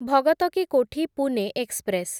Bhagat ki Kothi Pune express